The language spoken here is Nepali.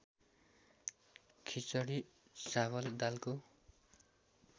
खिचडी चावल दालको